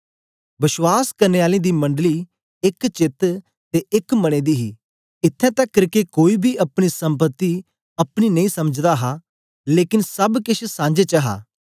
बश्वास करने आलें दी मंडली एक चेत्त ते एक मने दी ही इत्थैं तकर के कोई बी अपनी सम्पति अपनी नेई समझदा हा लेकन सब केछ सांझे च हा